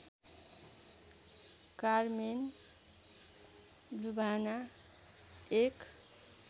Carmen लुभाना एक